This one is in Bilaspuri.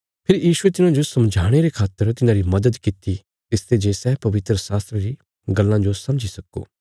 फेरी यीशुये तिन्हाजो समझाणे रे खातर तिन्हांरी मदद कित्ती तिसते जे सै पवित्रशास्त्रा री गल्लां जो समझी सक्को